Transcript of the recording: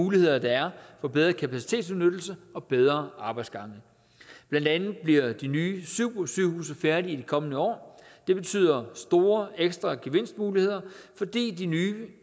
muligheder der er for bedre kapacitetsudnyttelse og bedre arbejdsgange blandt andet bliver de nye supersygehuse færdige i de kommende år det betyder store ekstra gevinstmuligheder fordi de nye